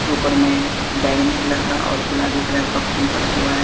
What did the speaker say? ऊपर में बैगनी कलर का और गुलाबी कलर का फूल बना हुआ है।